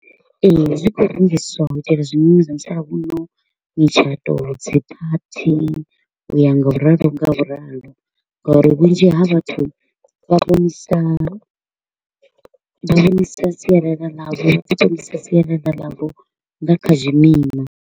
Ee, zwi kho u rengiswa u itela zwimima zwa musalauno mitshato, dzi party, u ya ngauralo ngauralo. Ngari vhunzhi ha vhathu vha vhonisa vha vhonisa sialala ḽavho u ṱongisa sialala ḽavho nga kha zwimima.